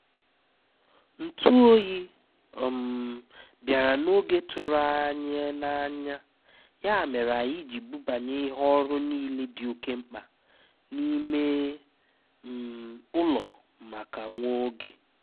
Ntú óyí um bìàrá n’ógé tụ́rụ́ ànyị́ n’ányá, yá mèré ànyị́ jírí búbányé íhé ọ́rụ́ níilé dí óké mkpá n’ímé um ụ́lọ́ máká nwá ógé.